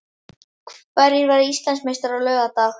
Hverjir verða Íslandsmeistarar á laugardag?